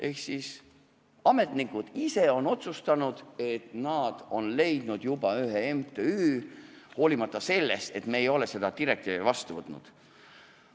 Ehk ametnikud ise on otsustanud, nad on leidnud juba ühe MTÜ, hoolimata sellest, et me ei ole seda seadust vastu võtnud.